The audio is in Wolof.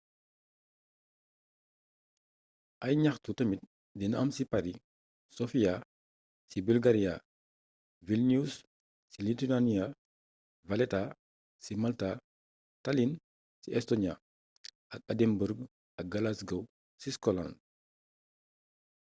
ay gnaxtu tamit dina am ci paris sofia ci bulgaria vilnius ci lithuania valetta ci malta tallinn ci estonia ak edinburgh ak glasgow ci scotland